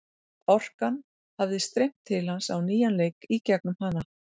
Orkan hafi streymt til hans á nýjan leik í gegnum hana.